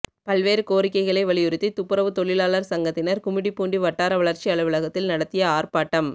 பல்வேறு கோரிக்கைகளை வலியுறுத்தி துப்புரவு தொழிலாளா் சங்கத்தினா் கும்மிடிப்பூண்டி வட்டார வளா்ச்சி அலுவலகத்தில் நடத்திய ஆா்ப்பாட்டம்